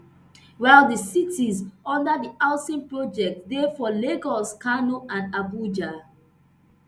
while di cities under di housing project dey for lagos kano and abuja